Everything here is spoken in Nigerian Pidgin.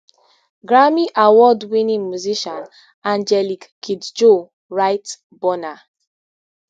grammy award winning musician angelique kidjo write burna